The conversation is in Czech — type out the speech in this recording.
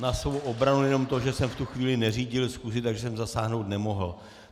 Na svou obranu jenom to, že jsem v tu chvíli neřídil schůzi, takže jsem zasáhnout nemohl.